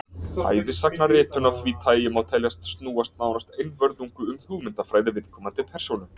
Ævisagnaritun af því tagi má teljast snúast nánast einvörðungu um hugmyndafræði viðkomandi persónu.